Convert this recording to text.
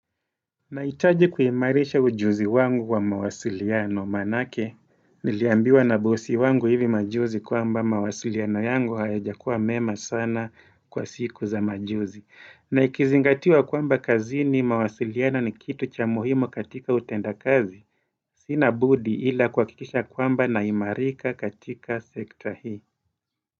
Naitaji kuhimarisha ujuzi wangu wa mawasiliano, manake, niliambiwa na bosi wangu hivi majuzi kwamba mawasiliano yangu hayajakuwa mema sana kwa siku za majuzi. Na ikizingatiwa kwamba kazini mawasiliano ni kitu cha muhimu katika utenda kazi, sina budi ila kuakikisha kwamba naimarika katika sekta hii.